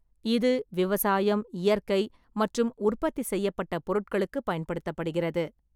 இது விவசாயம், இயற்கை மற்றும் உற்பத்தி செய்யப்பட்ட பொருட்களுக்குப் பயன்படுத்தப்படுகிறது.